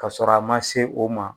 Ka sɔrɔ a man se o ma.